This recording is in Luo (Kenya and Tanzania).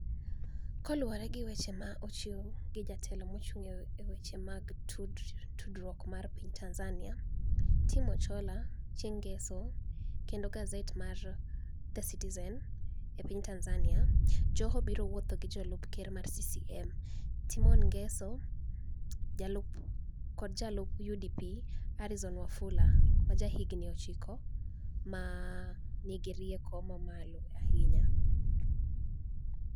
Kaluwore gi weche ma ni e ochiw gi jatelo mochunig' ni e weche mag tudruok e piniy Tanizaniia, Tom Achiloa, chienig' nigeso, kenido gaset mar The Citizeni e piniy Tanizaniia, Joho biro wuotho gi jalup ker mar CCM, Timoni nigeso, kod jalup UDP, Arizoni Wafula ma jahiginii 9 ma niigi rieko mamalo ahiniya.